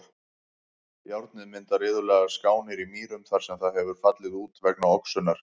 Járnið myndar iðulega skánir í mýrum þar sem það hefur fallið út vegna oxunar.